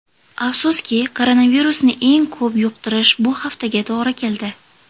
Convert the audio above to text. Afsuski, koronavirusni eng ko‘p yuqtirish bu haftaga to‘g‘ri keldi.